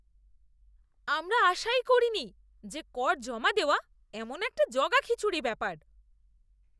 আমরা আশাই করিনি যে কর জমা দেওয়া এমন একটা জগাখিচুড়ি ব্যাপার!